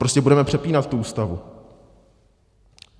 Prostě budeme přepínat tu Ústavu?